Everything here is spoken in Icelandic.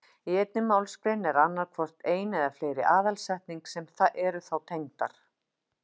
Í einni málsgrein er annað hvort ein eða fleiri aðalsetning sem eru þá tengdar.